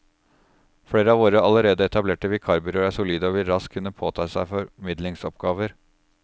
Flere av våre allerede etablerte vikarbyråer er solide og vil raskt kunne påta seg formidlingsoppgaver.